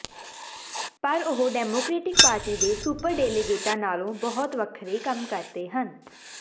ਪਰ ਉਹ Democratic Party ਦੇ ਸੁਪਰਡੇਲਾਗੇਟਾਂ ਨਾਲੋਂ ਬਹੁਤ ਵੱਖਰੇ ਕੰਮ ਕਰਦੇ ਹਨ